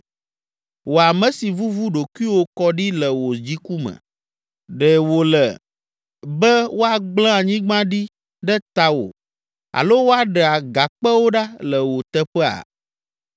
Wò ame si vuvu ɖokuiwò kɔ ɖi le wò dziku me, ɖe wòle be woagblẽ anyigba ɖi ɖe tawò alo woaɖe agakpewo ɖa le wò teƒea?